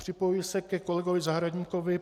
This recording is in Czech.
Připojuji se ke kolegovi Zahradníkovi.